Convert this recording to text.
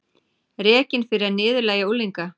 Rekinn fyrir að niðurlægja unglinga